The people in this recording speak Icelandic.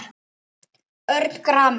Örn gramur.